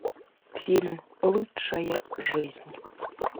фильм лучшая жизнь